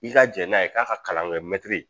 I ka jɛn n'a ye k'a ka kalan kɛ mɛtiri